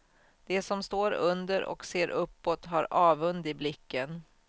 De som står under och ser uppåt har avund i blicken.